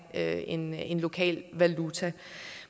have en en lokal valuta